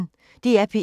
DR P1